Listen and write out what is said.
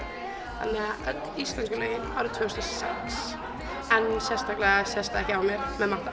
öll íslensku lögin árið tvö þúsund og sex en sérstaklega sést það ekki á mér með matta